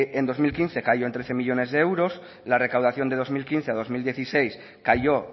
en dos mil quince cayó en trece millónes de euros la recaudación de dos mil quince a dos mil dieciséis cayó